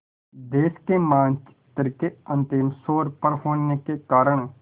देश के मानचित्र के अंतिम छोर पर होने के कारण